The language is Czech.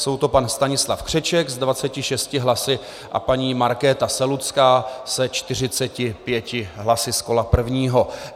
Jsou to pan Stanislav Křeček s 26 hlasy a paní Markéta Selucká se 45 hlasy z kola prvního.